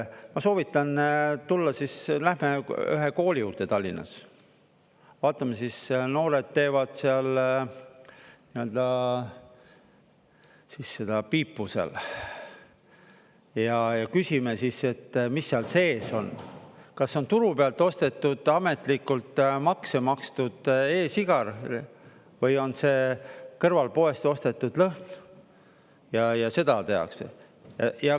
Ma soovitan tulla siis, läheme ühe kooli juurde Tallinnas, vaatame siis, noored teevad siis seda piipu seal, ja küsime, et mis seal sees on, kas on turu pealt ostetud, ametlikult makse makstud e-sigar või on see kõrvalpoest ostetud lõhn ja seda tehakse.